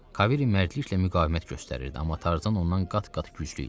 Kavery mərdliklə müqavimət göstərirdi, amma Tarzan ondan qat-qat güclü idi.